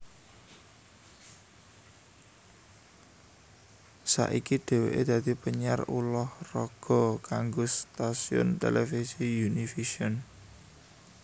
Saiki dheweke dadi penyiar ulah raga kanggo stasiun televisi Univision